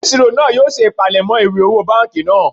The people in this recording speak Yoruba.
Onisiro naa yoo se ipalemo iwe owo banki naa